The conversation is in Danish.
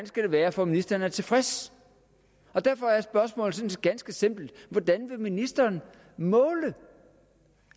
skal være for at ministeren er tilfreds og derfor er spørgsmålet sådan set ganske simpelt hvordan vil ministeren måle